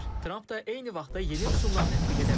Tramp da eyni vaxtda yeni rüsumlar tətbiq edə bilər.